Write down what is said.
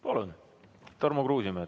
Palun, Tarmo Kruusimäe!